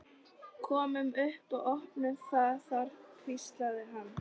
Komum upp og opnum það þar hvíslaði hann.